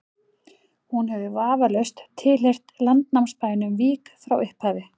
hún hefur vafalaust tilheyrt landnámsbænum vík frá upphafi